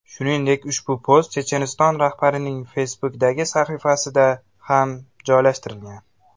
Shuningdek, ushbu post Checheniston rahbarining Facebook’dagi sahifasida ham joylashtirilgan .